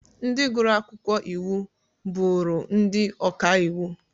Ndị gụrụ akwụkwọ iwu, bụrụ ndị ọka iwu.